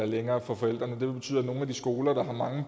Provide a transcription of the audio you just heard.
længere for forældrene det vil betyde at nogle af de skoler der har mange